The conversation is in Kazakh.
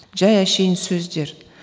жай әшейін сөздер